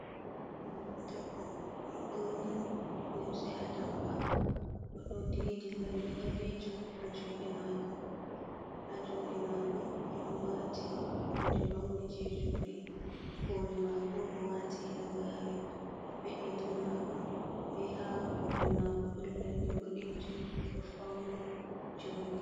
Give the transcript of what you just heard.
Ɓingel debbo oɗo borni limse a tampa, oɗo didi lalle ɓalejum ha juɗe mako, ha juɗe mako oɗo wati hunde pauni je juɗe koli mako oɗo wati halagare. ha peɗeli mako be ha koli mako ɗon lalle boɗejum oɗo fauni joɗi.